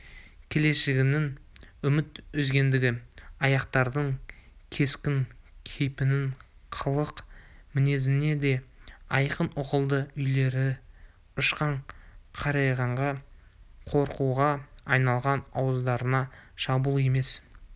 келешегінен үміт үзгендігі ақтардың кескін-кейпінен қылық-мінезінен де айқын ұғылды үрейлері ұшқан қарайғаннан қорқуға айналған ауыздарына шабуыл емес